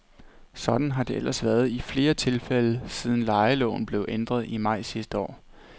Sådan har det ellers været i flere tilfælde, siden lejeloven blev ændret i maj sidste år.